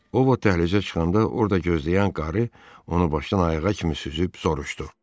O ovud dəhlizə çıxanda orda gözləyən qarı onu başdan ayağa kimi süzüb soruşdu.